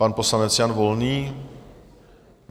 Pan poslanec Jan Volný...